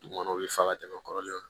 Dugukɔnɔ u bɛ fa ka tɛmɛ kɔrɔlen kan